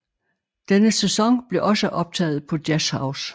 Denne sæson blev også optaget på Jazzhouse